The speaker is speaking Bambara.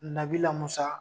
Nabila Musa